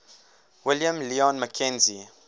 william lyon mackenzie